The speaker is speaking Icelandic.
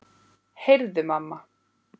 Heyrðu mamma!